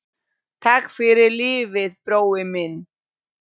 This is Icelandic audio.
Takk fyrir lífið, brói minn.